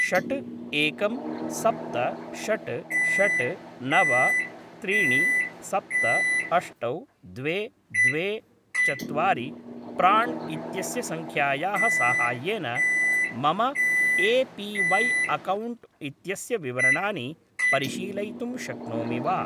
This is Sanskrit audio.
षट् एकं सप्त षट् षट् नव त्रीणि सप्त अष्टौ द्वे द्वे चत्वारि प्राण् इत्यस्य सङ्ख्यायाः साहाय्येन मम ए.पी.वै. अकौण्ट् इत्यस्य विवरणानि परिशीलयितुं शक्नोमि वा?